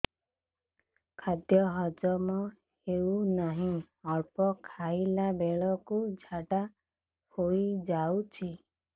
ଖାଦ୍ୟ ହଜମ ହେଉ ନାହିଁ ଅଳ୍ପ ଖାଇଲା ବେଳକୁ ଝାଡ଼ା ହୋଇଯାଉଛି